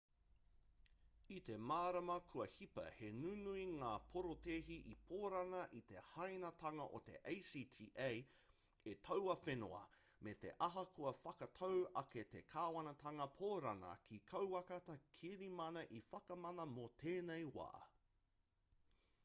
i te marama kua hipa he nunui ngā porotēhi i pōrana i te hāinatanga o te acta e taua whenua me te aha kua whakatau ake te kāwanatanga pōrana kia kauaka te kirimana e whakamana mō tēnei wā